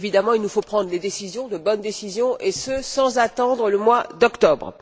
il nous faut prendre des décisions, de bonnes décisions, et ce sans attendre le mois d'octobre.